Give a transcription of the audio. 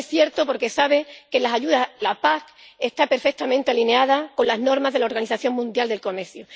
No es cierto, porque sabe que la PAC está perfectamente alineada con las normas de la Organización Mundial del Comercio.